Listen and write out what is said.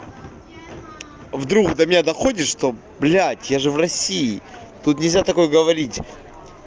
вдруг до меня доходит что блять я же в россии тут нельзя такое говорить